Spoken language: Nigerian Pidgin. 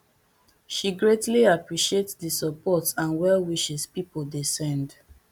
she greatly appreciate di support and well wishes pipo dey send